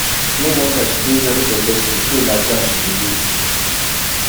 no wonder she dey very successful so n charm she dey use